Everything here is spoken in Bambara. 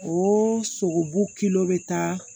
O sogobu bɛ taa